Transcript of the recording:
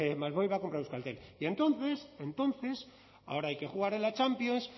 másmóvil va a comprar euskaltel y entonces entonces ahora hay que jugar en la champions